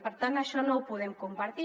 i per tant això no ho podem compartir